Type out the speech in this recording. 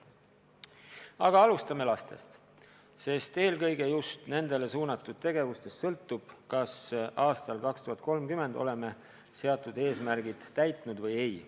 Aga alustame lastest, sest eelkõige just nendele suunatud tegevustest sõltub, kas aastal 2030 oleme seatud eesmärgid täitnud või ei.